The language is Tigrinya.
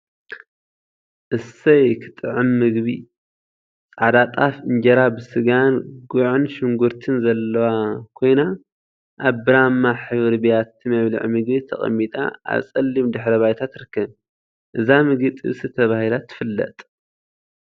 አሰይ ክትጥዕም ምግቢ! ፃዕዳ ጣፍ እንጀራ ብስጋን ጉዕን ሽጉርቲን ዘለዋ ኮይና፤ አብ ብራማ ሕብሪ ቢያቲ መብልዒ ምግቢ ተቀሚጣ አብ ፀሊም ድሕረ ባይታ ትርከብ፡፡ እዛ ምግቢ ጥብሲ ተባሂላ ትፍለጥ፡፡